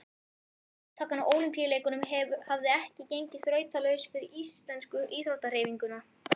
Þátttakan í Ólympíuleikunum hafði ekki gengið þrautalaust fyrir íslensku íþróttahreyfinguna.